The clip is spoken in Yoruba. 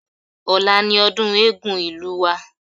Ọ̀la ni ọdún Eégún ìlú wa